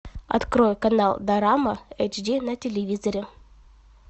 открой канал дорама эйч ди на телевизоре